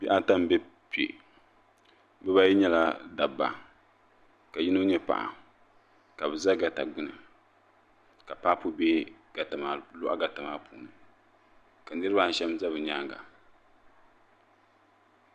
Bihi ata m-be kpe bibaayi nyɛla dabba Ka yino nyɛ paɣa Ka bɛ za gata gbuni Ka papu lɔhi gata maa puuni ka niriba ayi shɛba za bɛ nyaaŋa.